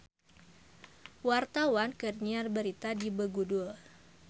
Wartawan keur nyiar berita di Begudul